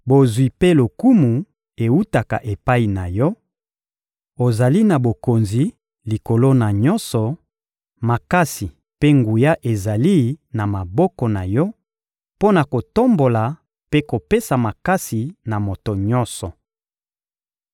Bozwi mpe lokumu ewutaka epai na Yo; ozali na bokonzi likolo na nyonso, makasi mpe nguya ezali na maboko na Yo mpo na kotombola mpe kopesa makasi na moto nyonso.